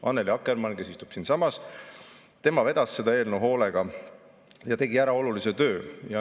Annely Akkermann, kes istub siinsamas, vedas seda eelnõu hoolega ja tegi ära olulise töö.